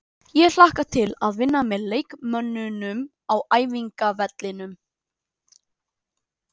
Ég hlakka til að vinna með leikmönnunum á æfingavellinum.